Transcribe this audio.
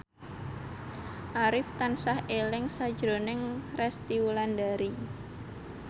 Arif tansah eling sakjroning Resty Wulandari